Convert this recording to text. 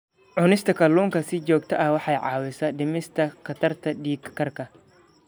Cunista kalluunka si joogto ah waxay caawisaa dhimista khatarta dhiig karka.